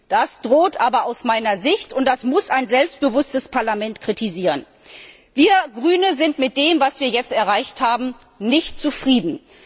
Das droht aber aus meiner Sicht, und das muss ein selbstbewusstes Parlament kritisieren. Wir Grüne sind mit dem, was wir jetzt erreicht haben, nicht zufrieden.